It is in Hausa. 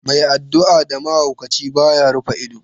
Mai addu'a da mahaukaci, ba ya rufe ido.